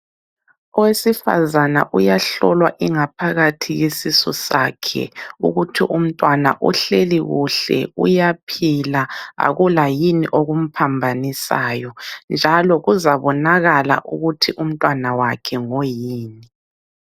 Owesifazana uyahlolwa ingaphakathi yesisu sakhe, ukuthi umntwana uhleli kuhle, uyaphila akula yini okumphambanisayo njalo kuzabonakala ukuthi umntwana wakhe ngoyini.